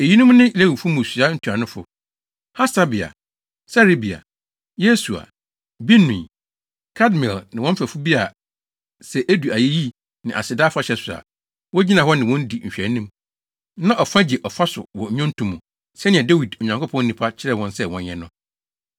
Eyinom ne Lewifo mmusua ntuanofo: Hasabia, Serebia, Yesua, Binui, Kadmiel ne wɔn mfɛfo bi a sɛ edu ayeyi ne aseda afahyɛ so a, wogyina hɔ ne wɔn di nhwɛanim, na ɔfa gye ɔfa so wɔ nnwonto mu, sɛnea Dawid, Onyankopɔn nipa, kyerɛɛ wɔn sɛ wɔnyɛ no.